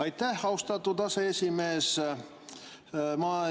Aitäh, austatud aseesimees!